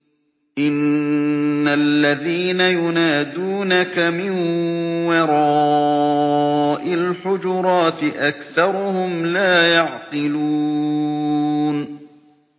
إِنَّ الَّذِينَ يُنَادُونَكَ مِن وَرَاءِ الْحُجُرَاتِ أَكْثَرُهُمْ لَا يَعْقِلُونَ